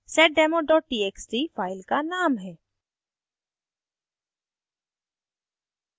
और seddemo txt file का name है